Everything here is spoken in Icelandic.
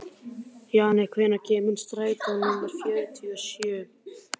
Jannika, hvenær kemur strætó númer fjörutíu og sjö?